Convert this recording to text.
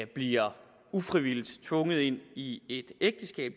bliver ufrivilligt tvunget ind i et ægteskab